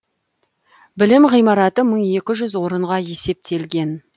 білім ғимараты мың екі жүз орынға есептелген